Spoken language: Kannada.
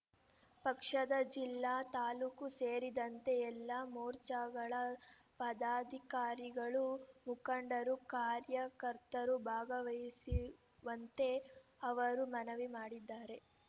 ಪಕ್ಷದ ಜಿಲ್ಲಾ ತಾಲೂಕು ಸೇರಿದಂತೆ ಎಲ್ಲಾ ಮೋರ್ಚಾಗಳ ಪದಾಧಿಕಾರಿಗಳು ಮುಖಂಡರು ಕಾರ್ಯಕರ್ತರು ಭಾಗವಹಿಸುವಂತೆ ಅವರು ಮನವಿ ಮಾಡಿದ್ದಾರೆ